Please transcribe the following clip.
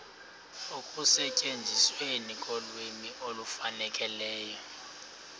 ekusetyenzisweni kolwimi olufanelekileyo